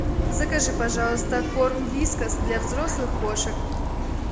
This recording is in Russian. закажи пожалуйста корм вискас для взрослых кошек